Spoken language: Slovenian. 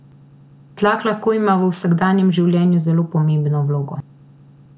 Tlak lahko ima v vsakdanjem življenju zelo pomembno vlogo.